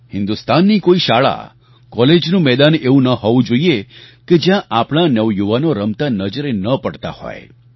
હિન્દુસ્તાનની કોઈ શાળા કૉલેજનું મેદાન એવું ન હોવું જોઈએ કે જ્યાં આપણા નવયુવાનો રમતા નજરે ન પડતા હોય